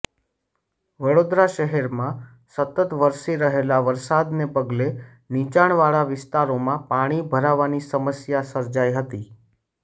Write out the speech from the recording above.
વડોદરા શહેરમાં સતત વરસી રહેલા વરસાદને પગલે નીચાણવાળા વિસ્તારોમાં પાણી ભરાવાની સમસ્યા સર્જાઇ હતી